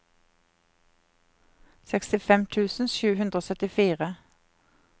sekstifem tusen sju hundre og syttifire